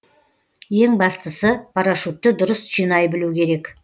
ең бастысы парашютті дұрыс жинай білу керек